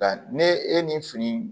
Nka ne e ni fini